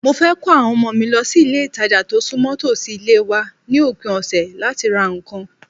Mo fẹ́ ko àwọn ọmọ mi lọ sí ilé-ìtàjà tó súnmọ́ tòsí ilé wa ni opin ọ̀sẹ̀ láti ra nǹkan